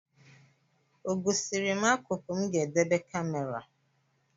Ọ gosiri m akụkụ m ga-edebe kamera?